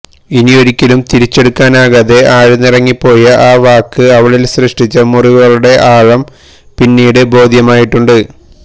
ഇനിയൊരിക്കലും തിരിച്ചെടുക്കാനാകാതെ ആഴ്ന്നിറങ്ങിപ്പോയ ആ വാക്ക് അവളില് സൃഷ്ടിച്ച മുറിവുകളുടെ ആഴം പിന്നീട് ബോധ്യമായിട്ടുണ്ട്